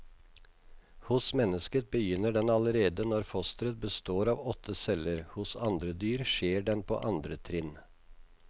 Hos mennesket begynner den allerede når fosteret består av åtte celler, hos andre dyr skjer den på andre trinn.